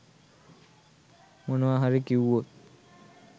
මොනවා හරි කිව්වොත්